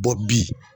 Bɔ bi